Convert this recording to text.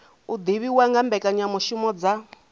u divhiwa nga mbekanyamishumo dza